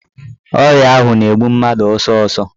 Ọrịa ahụ na-egbu mmadụ ọsọsọ.